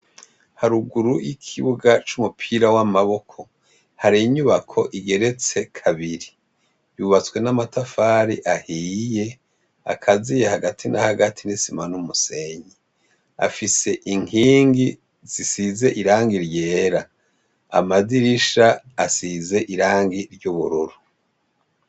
Haruguru y'ikibuga c'umupira w'amaboko hari inyubako igeretse kabiri yubatswe n'amatafari ahiye akaziye hagati na hagati n'isima n'umusenyi afise inkingi zisize iranga iryera amadirisha asize irangi ngi iryobororo.